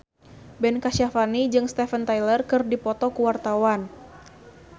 Ben Kasyafani jeung Steven Tyler keur dipoto ku wartawan